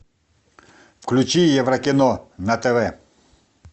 включи еврокино на тв